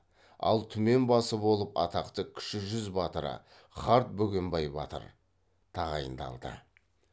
ал түмен басы болып атақты кіші жүз батыры қарт бөгенбай батыр тағайындалды